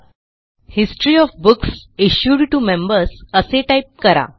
history of books issued to members असे type करा